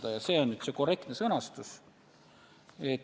Igal juhul, see on nüüd see korrektne sõnastus.